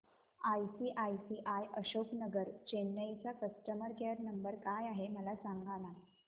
ICICI Ashok Nagar Chennai चा customer care number काय आहे मला सांगाना